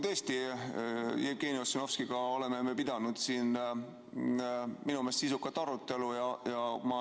Tõesti, Jevgeni Ossinovskiga me oleme pidanud siin minu meelest sisukat arutelu.